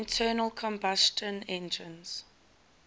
internal combustion engines